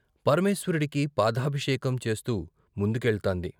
పరమేశ్వరుడికి పాదాభిషేకం చేస్తూ ముందు కెళ్తాంది.